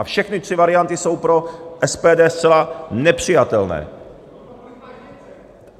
A všechny tři varianty jsou pro SPD zcela nepřijatelné.